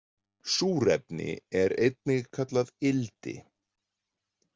Súrefni er einnig kallað ildi.